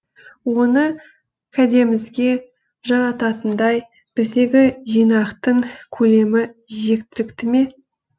оны кәдемізге жарататындай біздегі жинақтың көлемі жеткілікті ме